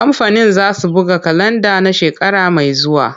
Kamfanin zasu buga kalanda na shekara mai zuwa.